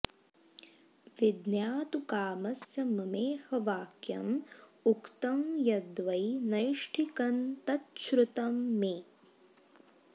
विज्ञातु कामस्य ममेह वाक्यम् उक्तं यद्वै नैष्ठिकं तच्छ्रुतं मे